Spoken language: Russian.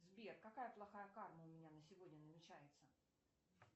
сбер какая плохая карма у меня на сегодня намечается